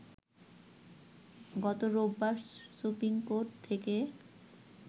গত রোববার supreme court থেকে